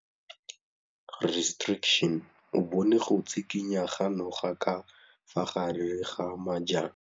O bone go tshikinya ga noga ka fa gare ga majang.